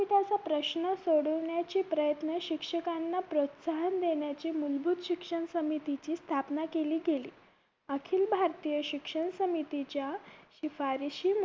विद्यापीठांचा प्रश्न सोडवण्याची प्रयत्न शिक्षकांना प्रोत्साहन देण्याचे मूलभूत शिक्षण समितीची स्थापना केली गेली अखिल भारतीय शिक्षण समितीच्या शिफारशी